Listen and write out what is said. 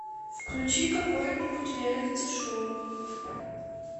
включи какое нибудь реалити шоу